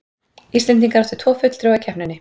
Íslendingar áttu tvo fulltrúa í keppninni